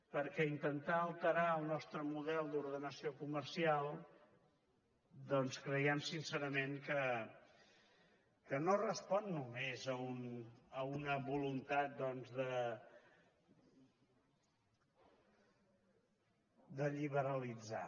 perquè intentar alterar el nostre model d’ordenació comercial doncs creiem sincerament que no respon només a una voluntat de lliberalitzar